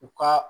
U ka